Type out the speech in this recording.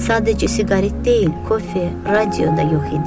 Sadəcə siqaret deyil, koffe, radio da yox idi.